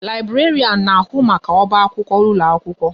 Laiberian na ahu maka oba akwụkwọ ụlọ akwụkwọ